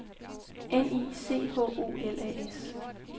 N I C H O L A S